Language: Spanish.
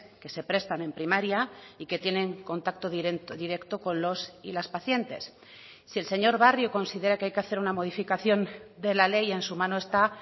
que se prestan en primaria y que tienen contacto directo con los y las pacientes si el señor barrio considera que hay que hacer una modificación de la ley en su mano está